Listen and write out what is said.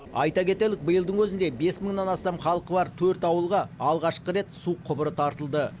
айта кетелік биылдың өзінде бес мыңнан астам халқы бар төрт ауылға алғашқы рет су құбыры тартылды